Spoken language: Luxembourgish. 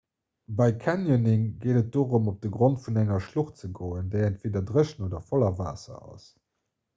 bei canyoning geet et dorëm op de grond vun enger schlucht ze goen déi entweeder dréchen oder voller waasser ass